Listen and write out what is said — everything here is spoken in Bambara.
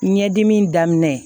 Ɲɛdimi daminɛ